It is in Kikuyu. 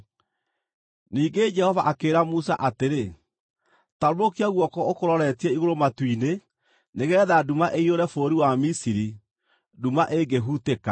Ningĩ Jehova akĩĩra Musa atĩrĩ, “Tambũrũkia guoko ũkũroretie igũrũ matu-inĩ nĩgeetha nduma ĩiyũre bũrũri wa Misiri, nduma ĩngĩhutĩka.”